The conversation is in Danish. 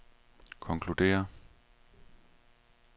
konkluderer